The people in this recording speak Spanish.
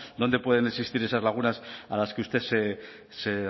dónde pueden existir esas lagunas a las que usted se